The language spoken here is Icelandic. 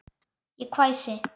Ég hvæsi.